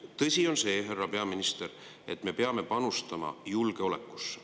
Tõsi on see, härra peaminister, et me peame panustama julgeolekusse.